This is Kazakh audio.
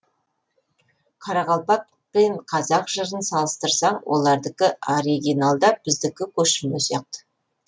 қарақалпақ пен қазақ жырын салыстырсаң олардікі оргинал да біздікі көшірме сияқты